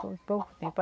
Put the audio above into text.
Foi por pouco tempo.